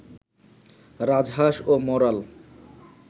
রাজহাঁস ও মরাল